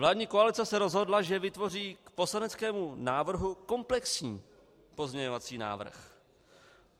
Vládní koalice se rozhodla, že vytvoří k poslaneckému návrhu komplexní pozměňovací návrh.